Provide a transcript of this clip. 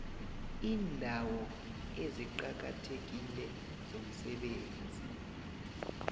iindawo eziqakathekile zomsebenzi